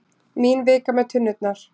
Mín vika með tunnurnar.